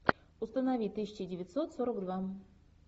установи тысяча девятьсот сорок два